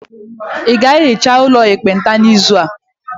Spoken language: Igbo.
Ị ga-ehicha ụlọ ekpenta n'izu a.